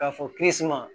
K'a fɔ kiiri suma